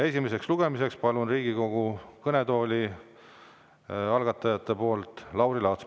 Esimesel lugemisel palun Riigikogu kõnetooli algatajate nimel kõnelema Lauri Laatsi.